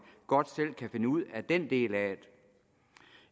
godt selv kan finde ud af den del af